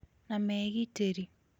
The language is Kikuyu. na megitĩrĩ.